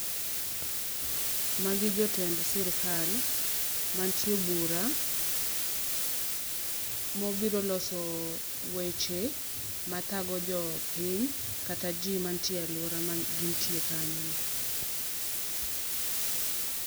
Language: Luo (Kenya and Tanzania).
Magi jotend sirkal ma nitie e bura, mobiro loso weche ma thago jopiny kata ji manitie e aluorano ma gin tie kanyono.